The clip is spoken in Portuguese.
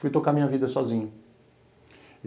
Fui tocar a minha vida sozinho.